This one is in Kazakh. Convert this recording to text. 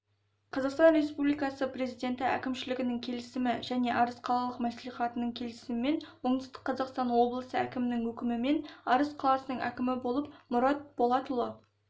қазақстан республикасы президенті әкімшілігінің келісімі және арыс қалалық мәслихатының келісімімен оңтүстік қазақстан облысы әкімінің өкімімен арыс қаласының әкімі болып мұрат болатұлы